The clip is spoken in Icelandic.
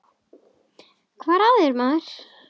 Hvað er að þér maður?